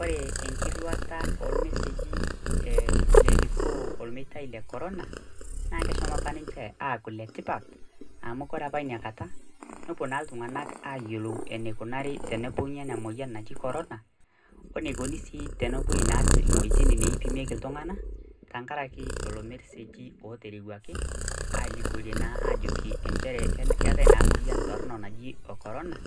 Ore enkirwata ormeseji elikino le corona naa eshomo ninche aku le tipat, ore na inakata nepuo na ltunganak ayiolou enikunari ina moyian naji corona o enikuni sii pepuo ineweuji naipimieki ltunganak tenkaraki lolobmeseji oterewuaki alikio alimu ajo keetai naa inamoyian toronok najo corona